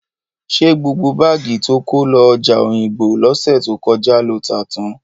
Ṣé gbogbo báàgì to kó lọ ọjà Òyìngbò lọ́sẹ̀ tó kọjá lo tà tán?